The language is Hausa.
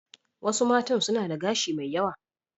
Wasu matan suna da gashi mai yawa.